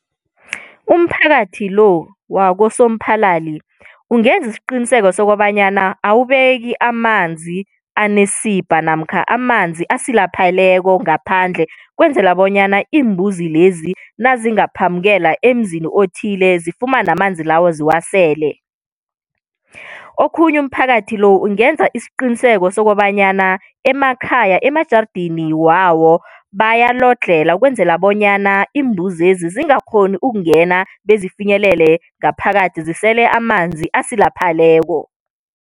Umphakathi lo waKoSoMphalali ungenza isiqiniseko sokobanyana awubeki amanzi anesibha namkha amanzi asilapheleko ngaphandle, ukwenzela bonyana iimbuzi lezi nazingaphambukela emzini othile zifumane amanzi lawo ziwasele. Okhunye umphakathi lo ungenza isiqiniseko sokobanyana emakhaya emajarideni wawo bayalodlhela, ukwenzela bonyana iimbuzi lezi zingakghoni ukungena bezifinyelele ngaphakathi zisele amanzi asilapheleko.